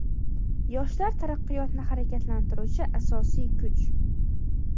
Yoshlar – taraqqiyotni harakatlantiruvchi asosiy kuch!.